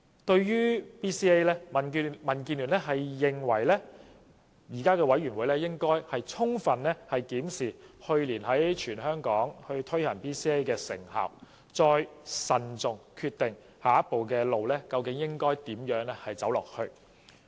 對於 BCA， 民建聯認為有關委員會應充分檢視去年在全港推行 BCA 的成效，再慎重決定下一步究竟應如何走。